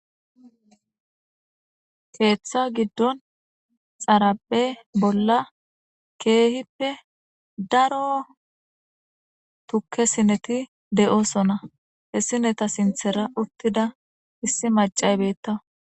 Keetha gidon xaraphe bolla keehippe daro tuke sineti de'osona, he sineta sinthera utida issi mac'ayi betawus.